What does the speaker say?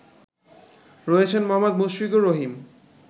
রয়েছেন মোহাম্মদ মুশফিকুর রহিম